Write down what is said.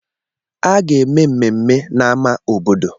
A ga-eme mmemme na àmá obodo